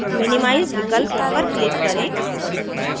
minimize विकल्प पर click करें